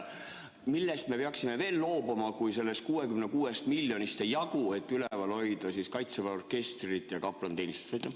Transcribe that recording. Millest me peaksime veel loobuma, kui sellest 66 miljonist ei jagu, et üleval hoida Kaitseväe orkestrit ja kaplaniteenistust?